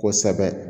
Kosɛbɛ